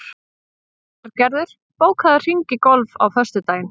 Bjarngerður, bókaðu hring í golf á föstudaginn.